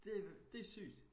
Det det sygt